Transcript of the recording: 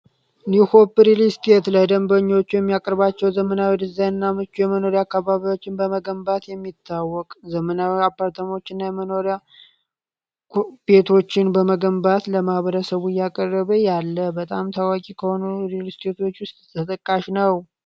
ኒው ሆፕ ሪልስቴት ለደንበኞቹ የሚያቅርባቸው ዘመናዊ ዲዛይን እና ምቹ የመኖሪያ አካባቢዎችን በመገንባት የሚታወቅ ዘመናዊ አፓርታማዎች እና የመኖሪያ ቤቶችን በመገንባት ለማህበረሰቡ እያቀረበ ያለ በጣም ታዋቂ ከሆኑ ሪልስቴቶች ውስጥ ተጠቃሽ ነው።